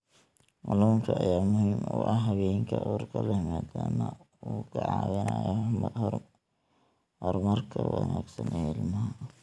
Kalluunka ayaa muhiim u ah haweenka uurka leh maadaama uu ka caawinayo horumarka wanaagsan ee ilmaha.